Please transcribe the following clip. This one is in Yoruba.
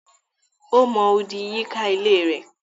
Ó mọ odì yíká ilée rẹ̀.